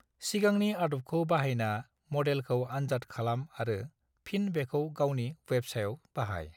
सिगांनि आदबखौ बाहायना मडेलखौ आन्जाद खालाम आरो फिन बेखौ गावनि बेब्सायाव बाहाय।